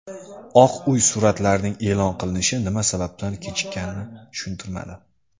Oq Uy suratlarning e’lon qilinishi nima sababdan kechikkanini tushuntirmadi.